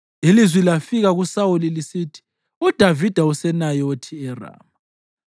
Ilizwi lafika kuSawuli lisithi: “UDavida useNayothi eRama.”